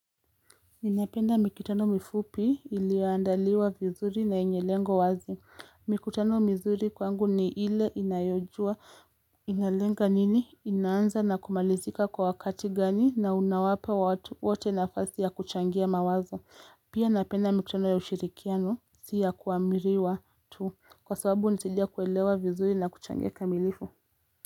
Ninapenda mikutano mifupi iliyoandaliwa vizuri na yenye lengo wazi. Mikutano mizuri kwangu ni ile inayojua inalenga nini? Inaanza na kumalizika kwa wakati gani na unawapa watu wote nafasi ya kuchangia mawazo. Pia napenda mikutano ya ushirikiano si ya kuamiriwa tu. Kwa sababu nitaja kuelewa vizuri na kuchangia kamilifu.